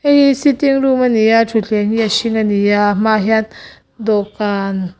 hi sitting room ani thutthleng hi a hring ani a hmaah hian dawhkan.